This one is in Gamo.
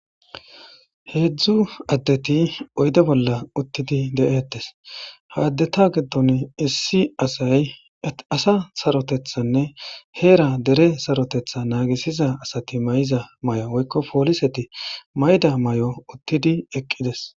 heedzdzu addeti oyde bolla uttidi de7eettes haaddeta giddon issi asay asa sarotethanne heera dere sarotetha naagisiza asati mayza may7o woykko pooliseti mayda may7o uttidi eqqides